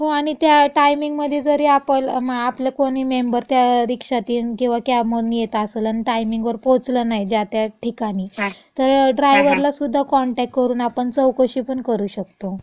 हो. आणि त्या टाइमिंगमधे जरी आपल, आपलं कोणी मेंबर त्या रिक्षातिन किंवा कॅब मधून येत असल अन् टाइमिंगवर पोहोचलं नाही ज्या त्या ठिकाणी तर ड्रायवरलासुद्धा कॉन्टॅक्ट करून आपण चौकशी पण करू शकतो.